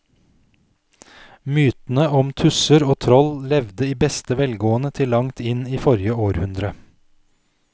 Mytene om tusser og troll levde i beste velgående til langt inn i forrige århundre.